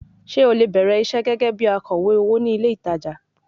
Ṣé o lè bẹ̀rẹ̀ iṣẹ́ gẹ́gẹ́ bí akọ̀wé owó ní ilé ìtajà?